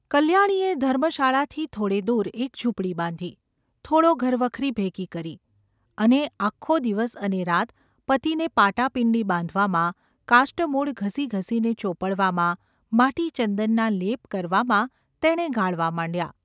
કલ્યાણીએ ધર્મશાળાથી થોડે દૂર એક ઝૂંપડી બાંધી, થોડો ઘરવખરી ભેગી કરી, અને આખો દિવસ અને રાત પતિને પાટાપિંડી બાંધવામાં, કાષ્ટમૂળ ઘસીઘસીને ચોપડવામાં, માટીચંદનના લેપ કરવામાં તેણે ગાળવા માંડ્યાં.